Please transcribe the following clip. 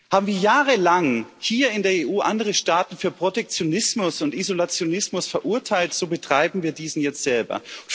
Haben wir jahrelang hier in der EU andere Staaten für Protektionismus und Isolationismus verurteilt, so betreiben wir diesen jetzt selber.